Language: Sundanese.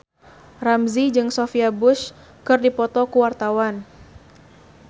Ramzy jeung Sophia Bush keur dipoto ku wartawan